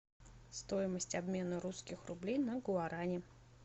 стоимость обмена русских рублей на гуарани